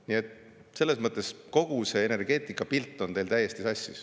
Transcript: Nii et selles mõttes on kogu see energeetikapilt teil täiesti sassis.